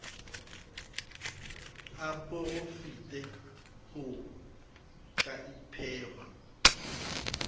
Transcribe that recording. a porafete ho ka ipehwa